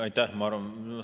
Aitäh!